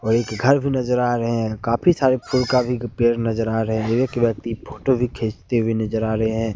वह घर भी नजर आ रहे हैं बहुत सारे फूल काफी पेड़ नजर आ रहे हैं काफी सारे फूल कभी पेड़ नजर आ रहे हैं एक व्यक्ति फोटो भी खींचते हुए नजर आ रहे हैं।